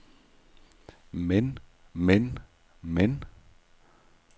men men men